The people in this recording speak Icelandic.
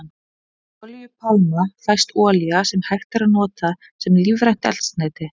Úr olíupálma fæst olía sem hægt er að nota sem lífrænt eldsneyti.